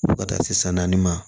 Fo ka taa se san naani ma